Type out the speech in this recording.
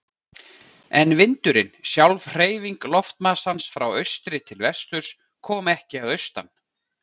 En vindurinn, sjálf hreyfing loftmassans frá austri til vesturs, kom ekki að austan.